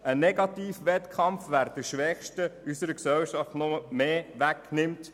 Wir lancieren einen Negativ-Wettkampf, wer den Schwächsten unserer Gesellschaft noch mehr wegnimmt.